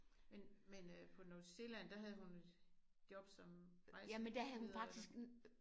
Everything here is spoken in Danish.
Men men øh på New Zealand der havde hun et job som rejseleder eller?